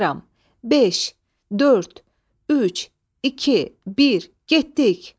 5, 4, 3, 2, 1, getdik!